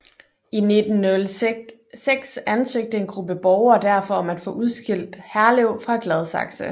I 1906 ansøgte en gruppe borgere derfor om at få udskilt Herlev fra Gladsaxe